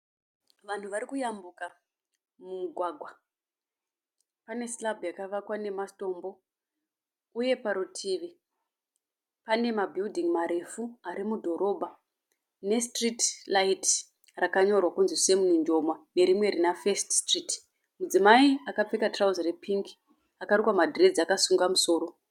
Vanhu varikuyambuka mumugwangwa, pane silbhu yakavakwa nematombo uye parutivi panemabhiring marefu arimudhorobha nestreti raiti rakanyorwa kunzi Sama Mujoma nerimwe rina First Street. Mudzimai akapfeka trouzi repingi akarukwa madhiredzi akasunga musoro